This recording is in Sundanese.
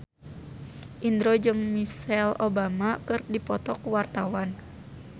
Indro jeung Michelle Obama keur dipoto ku wartawan